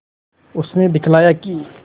उसने दिखलाया कि